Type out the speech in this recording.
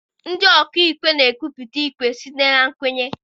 Ndị ọ ka ikpe na-ekwupụta ikpe site na nkwenye.